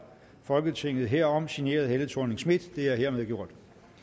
folketinget herom sign helle thorning schmidt mohammad det er hermed gjort